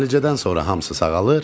Müalicədən sonra hamısı sağalır.